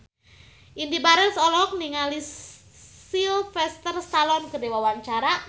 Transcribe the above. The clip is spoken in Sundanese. Indy Barens olohok ningali Sylvester Stallone keur diwawancara